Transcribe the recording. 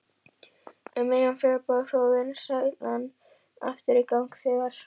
Um miðjan febrúar fór vinnslan aftur í gang þegar